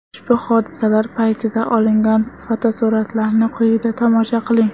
Ushbu hodisalar paytida olingan fotosuratlarni quyida tomosha qiling.